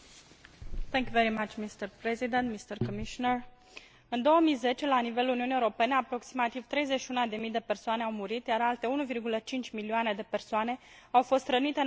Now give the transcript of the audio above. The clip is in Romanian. În 2010, la nivelul Uniunii Europene, aproximativ 31 de mii de persoane au murit, iar alte 1,5 milioane de persoane au fost rănite în aproximativ 1,15 milioane de accidente rutiere.